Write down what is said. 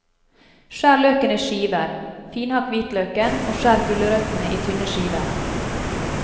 Skjær løken i skiver, finhakk hvitløken og skjær gulrøttene i tynne skiver.